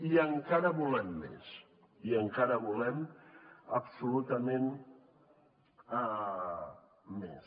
i encara en volem més i encara en volem absolutament més